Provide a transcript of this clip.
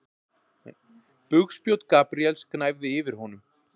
Bugspjót Gabríels gnæfði yfir honum.